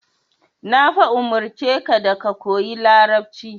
Na fa umurce ka da ka koyi Larabci.